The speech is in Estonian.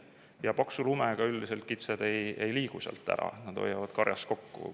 Ja paksu lumega üldiselt kitsed ei liigu sealt ära, nad hoiavad karjas kokku.